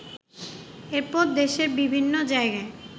এরপর দেশের বিভিন্ন জায়গায়